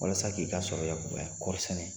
Walasa k'i ka sɔrɔ yakubaya kɔɔri sɛnɛ.